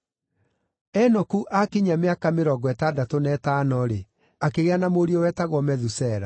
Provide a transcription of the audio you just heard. Enoku aakinyia mĩaka mĩrongo ĩtandatũ na ĩtano-rĩ, akĩgĩa na mũriũ wetagwo Methusela.